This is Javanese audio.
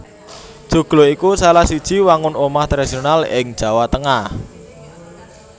Joglo iku salah siji wangun omah tradisional ing Jawa Tengah